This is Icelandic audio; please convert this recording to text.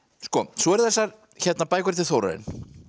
svo eru það þessar bækur eftir Þórarin